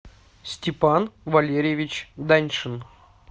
степан валерьевич даньшин